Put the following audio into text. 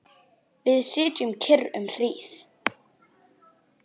Við sitjum kyrr um hríð.